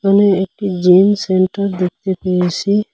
এখানে একটি gym centre দেখতে পেয়েসি।